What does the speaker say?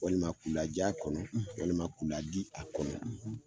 Walima k'u laja kɔnɔ walima k'u ladi a kɔnɔ